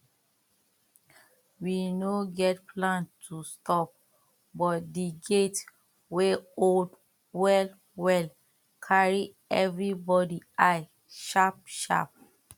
we no get plan to stop but the gate wey old well well carry everybody eye sharp sharp